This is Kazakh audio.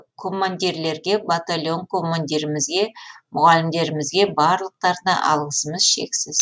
командирлерге батальон командирімізге мұғалімдерімізге барлықтарына алғысымыз шексіз